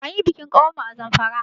Anyi bikin ƙawar mu a Zamfara.